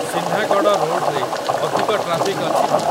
ସିହ୍ନାଗଡ଼ ରୋଡ଼ରେ ଅଧିକ ଟ୍ରାଫିକ୍ ଅଛି କି ?